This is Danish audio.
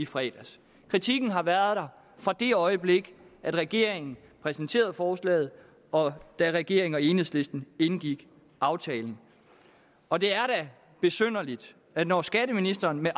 fredags kritikken har været der fra det øjeblik regeringen præsenterede forslaget og da regeringen og enhedslisten indgik aftalen og det er da besynderligt at når skatteministeren med